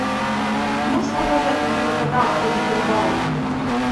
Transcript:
можешь показать на тв канал охотник и рыболов